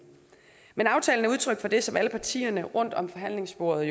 men aftalen er udtryk for det som alle partierne rundt om forhandlingsbordet